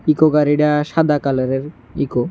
Eco গাড়িডা সাদা কালারের ইকো ।